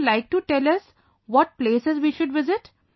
Would you like to tell us what places we should visit